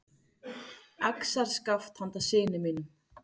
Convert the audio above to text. Axarskaft handa syni mínum.